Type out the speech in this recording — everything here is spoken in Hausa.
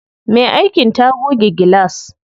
Me aikin ta goge gilas.